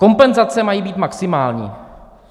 Kompenzace mají být maximální.